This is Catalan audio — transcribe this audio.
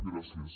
gràcies